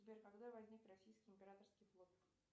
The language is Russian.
сбер когда возник российский императорский флот